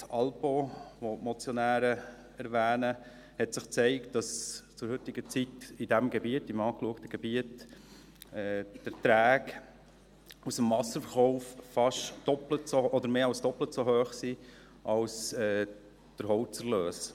Im Projekt «Alpeau», das die Motionäre erwähnen, hat sich gezeigt, dass die Erträge aus dem Wasserverkauf im untersuchten Gebiet zur heutigen Zeit mehr als doppelt so hoch sind wie der Holzerlös.